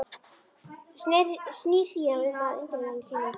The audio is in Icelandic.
Snýr sér síðan að undirmanni sínum og bætir við